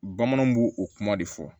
Bamananw b'o o kuma de fɔ